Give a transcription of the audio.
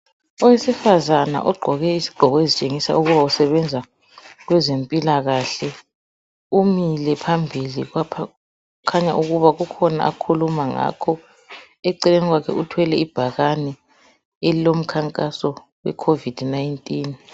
Owesifazana ogqoke izigqoko ezitshengisa ukuba usebenza kwezempilakahle. Umile phambili lapha. Okutshengisa ukuthi kukhona akhuluma ngakho. Eceleni kwakhe uthwele ibhakane elilomkhankaso, weCovid 19.